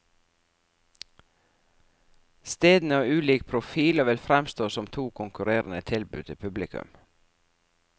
Stedene har ulik profil og vil fremstå som to konkurrerende tilbud til publikum.